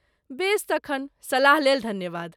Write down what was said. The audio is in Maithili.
बेस तखन, सलाह लेल धन्यवाद!